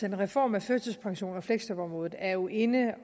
en reform af førtidspensionen og fleksjobområdet er jo inde